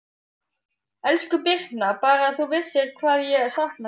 Elsku Birna, Bara að þú vissir hvað ég sakna þín.